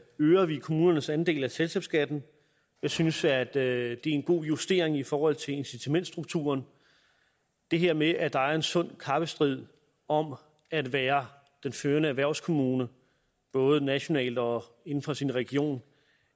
øger vi kommunernes andel af selskabsskatten jeg synes at det er en god justering i forhold til incitamentsstrukturen det her med at der er en sund kappestrid om at være den førende erhvervskommune både nationalt og inden for sin region